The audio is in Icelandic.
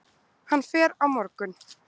Hann fer á morgun.